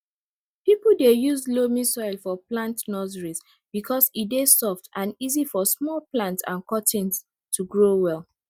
people dey use loamy soil for plant nurseries because e dey soft and easy for small plants and cuttings to grow well